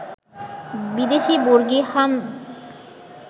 বিদেশি বর্গী, হার্মাদ